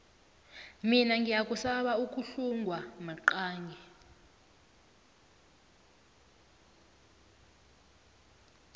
mina ngiyasaba ukuhlungwa maqangi